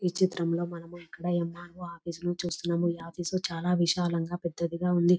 ఈ చిత్రంలో మనము ఇక్కడ ఎమ్మార్వో ఆఫీసు లో చూస్తున్నాము ఆఫీసు చాలా విశాలముగా పెద్దదిగా విశాలంగా ఉంది.